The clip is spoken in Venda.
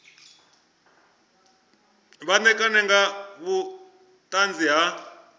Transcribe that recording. vha ṋekane nga vhuṱanzi ha